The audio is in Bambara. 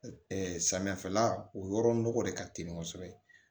samiyafɛla o yɔrɔ nɔgɔ de ka teli kosɛbɛ